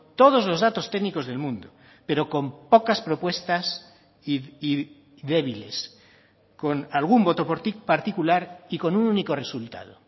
todos los datos técnicos del mundo pero con pocas propuestas y débiles con algún voto particular y con un único resultado